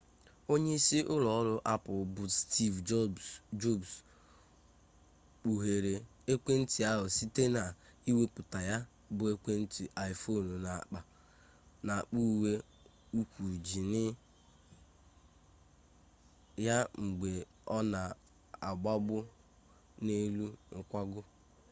onyeisi ụlọọrụ apple bụ steve jobs kpuhere ekwentị ahụ site n'iwepụta ya bụ ekwentị iphone n'akpa uwe ukwu jiini ya mgbe ọ na-agbago n'elu nkwago